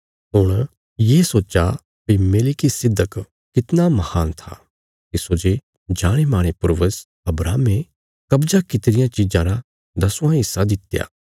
हुण ये सोच्चा भई मेलिकिसिदक कितना महान था तिस्सो जे जाणेमाणे पूर्वज अब्राहमे कब्जा कित्ती रियां चीजां रा दसवां हिस्सा दित्या